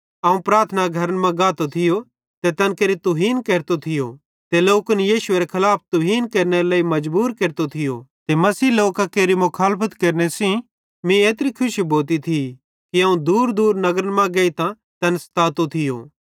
अवं प्रार्थना घरन मां गातो थियो ते तैन केरि तुहीन केरतो थियो ते लोकन यीशुएरे खलाफ तुहीन केरनेरे लेइ मजबूर केरतो थियो ते मसीही लोकां केरि मुखालफत केरने सेइं मीं एत्री खुशी भोती थी कि अवं दूरदूर नगरन मां गेइतां तैन सतातो थियो